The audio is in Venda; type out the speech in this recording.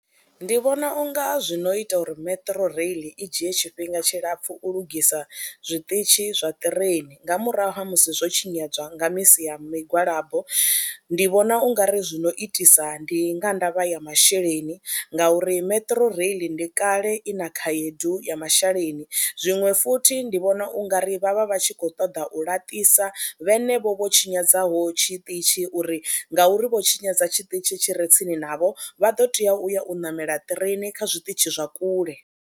Ndi vhona u nga zwino ita uri Metro rail i dzhie tshifhinga tshilapfhu u lugisa zwiṱitshi zwa ṱireini nga murahu ha musi zwo tshinyadzwa nga misi ya migwalabo. Ndi vhona u nga ri zwino itisa ndi nga ndavha ya masheleni ngauri Metro rail ndi kale i na khaedu ya masheleni, zwiṅwe futhi ndi vhona u nga ri vha vha vha tshi khou ṱoḓa u laṱisa vhenevho vho tshinyadzaho tshiṱitshi uri ngauri vho tshinyadza tshiṱitzhi tshi re tsini navho, vha ḓo teya uya u ṋamela ṱireini kha zwiṱitshi zwa kule.